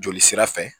Joli sira fɛ